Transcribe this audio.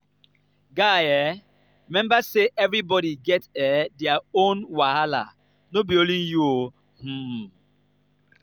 guy um rememba sey everybodi get um their own wahala no be only you. um